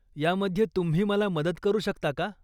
यामध्ये तुम्ही मला मदत करू शकता का?